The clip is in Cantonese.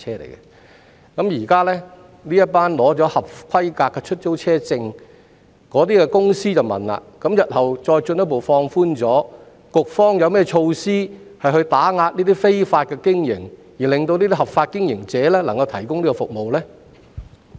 現時一些持有合規格出租車證的公司便想問，如果日後再進一步放寬規定，局方有何措施打擊這些非法經營者，讓合法經營者可以繼續提供服務呢？